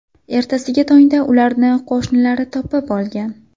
Ertasiga tongda ularni qo‘shnilari topib olgan.